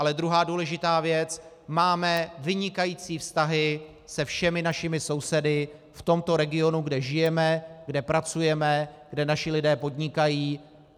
Ale druhá důležitá věc, máme vynikající vztahy se všemi našimi sousedy v tomto regionu, kde žijeme, kde pracujeme, kde naši lidé podnikají.